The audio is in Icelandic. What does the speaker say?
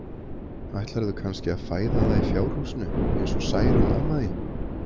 Ætlarðu kannski að fæða það í fjárhúsi, eins og Særún amma þín?